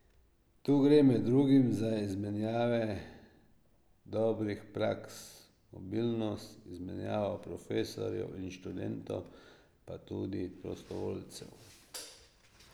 Tu gre med drugim za izmenjave dobrih praks, mobilnost, izmenjav profesorjev in študentov, pa tudi prostovoljcev.